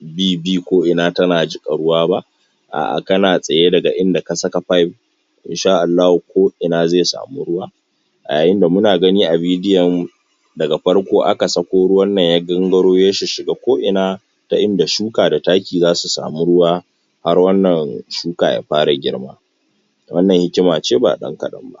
bi bi ko ina tana jiƙa ruwa ba a'ah kana tsaye daga inda ka saka pipe insha Allahu ko ina ze samu ruwa a yayinda muna gani a vedio daga farko aka sako ruwannan ya gangaro ya shishshiga ko ina ta inda shuka da taki zasu samu ruwa har wannan shuka ya fara girma wannan hikima ce ba ɗan kaɗan ba